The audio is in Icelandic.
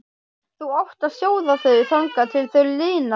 Þú átt að sjóða þau þangað til þau linast.